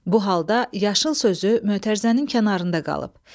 Bu halda yaşıl sözü mötərizənin kənarında qalıb.